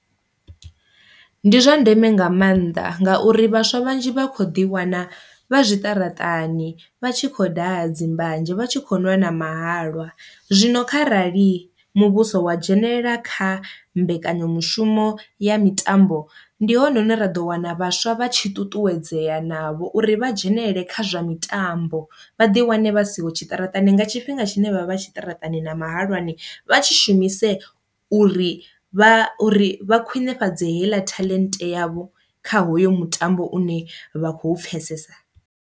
Ndi zwa ndeme nga mannḓa ngauri vhaswa vhanzhi vha kho ḓi wana vha zwiṱaraṱani vha tshi khou daha dzi mbanzhe vha tshi kho ṅwala na mahalwa, zwino kharali muvhuso wa dzhenelela kha mbekanyamushumo ya mitambo ndi hone hune ra ḓo wana vhaswa vha tshi ṱuṱuwedzea navho uri vha dzhenelele kha zwa mitambo. Vha ḓi wane vha siho tshiṱaratani nga tshifhinga tshine vha vha tshiṱaratani na mahalwani vha tshi shumise uri vha uri vha khwinifhadzo heiḽa talent yavho kha hoyo mutambo une vha khou pfhesesa.